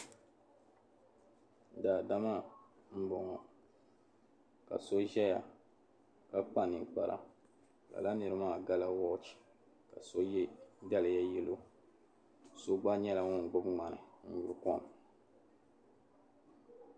Daa dama n bɔŋɔ ka soʒɛya ka kpa ninkpara la la niri maa gala wachi, ka ye daliya yelɔw, so gba nyɛla ŋun gbubi ŋmani n nyuri kom,